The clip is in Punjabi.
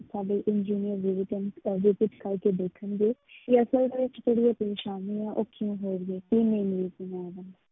ਸਾਡੇ engineer ਅਹ visit ਕਰਕੇ ਦੇਖਣਗੇ ਕਿ ਅਸਲ ਦੇ ਵਿੱਚ ਜਿਹੜੀ ਇਹ ਪਰੇਸਾਨੀ ਹੈ ਉਹ ਕਿਉਂ ਹੋ ਰਹੀ ਹੈ